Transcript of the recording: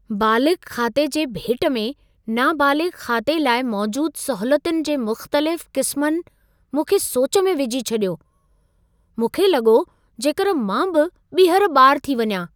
बालिग़ खाते जे भेट में नाबालिग़ु खाते लाइ मौजूद सहूलियतुनि जे मुख़्तलिफ़ क़िस्मनि मूंखे सोच में विझी छॾियो। मूंखे लॻो जेकर मां बि ॿीहर ॿारु थी वञा।